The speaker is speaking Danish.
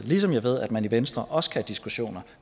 ligesom jeg ved at man i venstre også kan have diskussioner